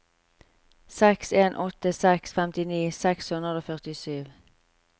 seks en åtte seks femtini seks hundre og førtisju